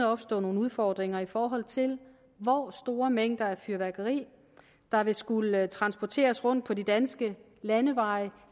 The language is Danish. opstå nogle udfordringer i forhold til hvor store mængder af fyrværkeri der vil skulle transporteres rundt på de danske landeveje